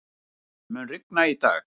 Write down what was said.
Rasmus, mun rigna í dag?